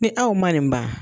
Ni aw man nin ban.